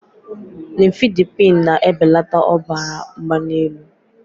Nifedipine na-ebelata ọbara mgbali elu.